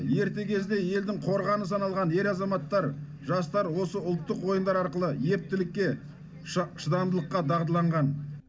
ерте кезде елдің қорғаны саналған ер азаматтар жастар осы ұлттық ойындар арқылы ептілікке шыдамдылыққа дағдыланған